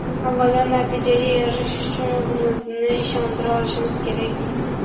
Avvalo, natijaga erishish uchun o‘zimizni ishontira olishimiz kerak.